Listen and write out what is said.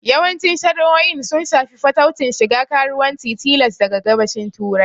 Yawancin shari'o'in sun shafi fataucin shiga karuwanci tilas daga Gabashin Turai.